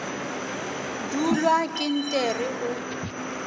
dulwa ke nt re o